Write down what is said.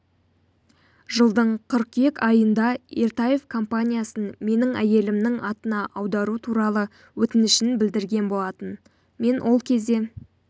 жылдың қыркүйек айында ертаев компаниясын менің әйелімнің атына аудару туралы өтінішін білдірген болатын мен ол кезде